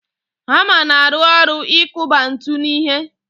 Hama na-arụ ọrụ ikụba ńtù n'ihe